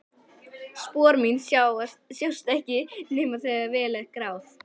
Spor mín sjást ekki nema þegar vel er að gáð.